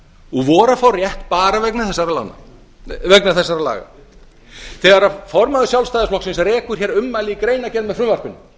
og voru að fá rétt bara vegna þessara laga þegar formaður sjálfstæðisflokksins rekur hér ummæli í greinargerð með frumvarpinu